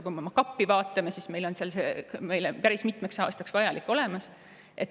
Kui me oma kappi vaatame, siis on meil seal suure tõenäosusega vajalik päris mitmeks aastaks olemas.